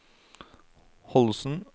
Holsen